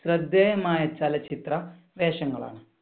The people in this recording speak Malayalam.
ശ്രദ്ധേയമായ ചലച്ചിത്ര വേഷങ്ങളാണ്.